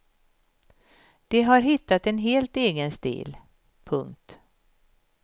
De har hittat en helt egen stil. punkt